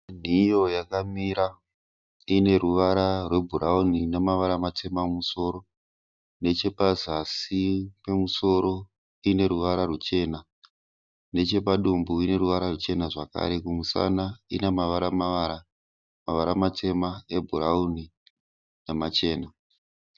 Nhiyo yakamira ine ruvara rwebhurawuni namavara matema mumusoro nechepazasi pemusoro ine ruvara ruchena nechepadumbu ine ruvara ruchena zvakare kumusana ine mavara mavara, mavara matema ebhurawuni namachena